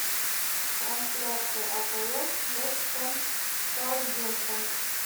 трансляция апл вест хэм саутгемптон